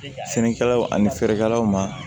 Finikala ani feerekɛlaw ma